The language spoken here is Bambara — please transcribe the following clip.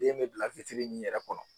Den mɛ bila min yɛrɛ kɔnɔ.